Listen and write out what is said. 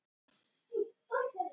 Tíundi í röð hjá Sundsvall